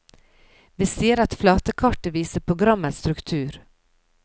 Vi sier at flatekartet viser programmets struktur.